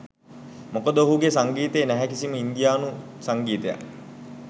මොකද ඔහුගේ සංගීතයේ නැහැ කිසිම ඉන්දියානු සංගීතයක්.